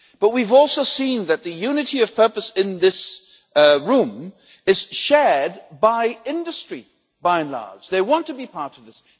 But we've also seen that the unity of purpose in this room is shared by industry by and large they want to be part of this.